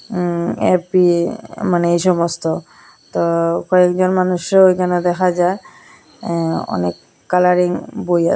আঃ A P মানে এইসমস্ত তো কয়েকজন মানুষরেও ওইখানে দেখা যার আঃ অনেক কালারিং বই আস--